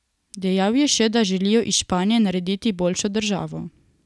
Dejal je še, da želijo iz Španije narediti boljšo državo.